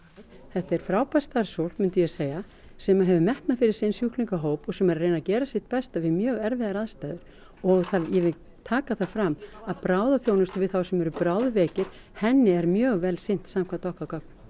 þetta er frábært starfsfólk myndi ég segja sem hefur metnað fyrir sinn sjúklingahóp og sem er að reyna að gera sitt besta við mjög erfiðar aðstæður og ég vil taka það fram að bráðaþjónustu við þá sem eru bráðveikir henni er mjög vel sinnt samkvæmt okkar gögnum